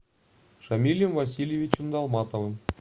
шамилем васильевичем долматовым